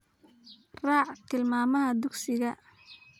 Raac tilmaamaha dugsiga